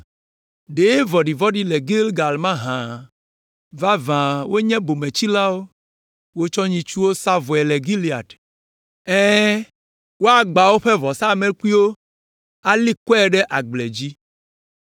Ɖe vɔ̃ɖivɔ̃ɖi le Gilgal mahã? Vavã wonye bometsilawo. Wotsɔ nyitsuwo sa vɔe le Gilead. Ɛ̃, woagbã woƒe vɔsamlekpuiwo ali kɔe ɖe agble dzi.